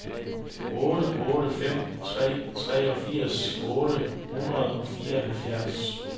otte otte fem tre treogfirs otte hundrede og fireoghalvfjerds